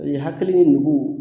hakili ni nugu